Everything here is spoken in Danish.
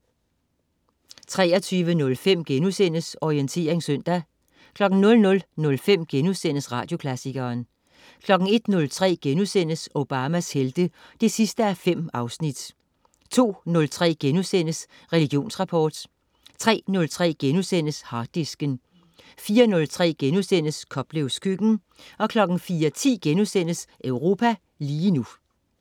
23.05 Orientering søndag* 00.05 Radioklassikeren* 01.03 Obamas Helte 5:5* 02.03 Religionsrapport* 03.03 Harddisken* 04.03 Koplevs Køkken* 04.10 Europa lige nu*